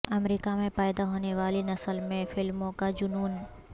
امریکا میں پیدا ہونے والی نسل میں فلموں کا جنون